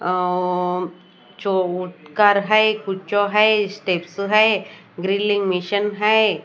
अ ओ चोट कर है कुछो है स्टेप्सो है ग्रिलिंग मिशन है।